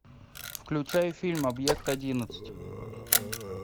включай фильм объект одиннадцать